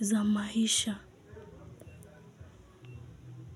za maisha.